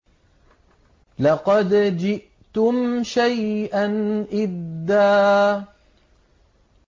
لَّقَدْ جِئْتُمْ شَيْئًا إِدًّا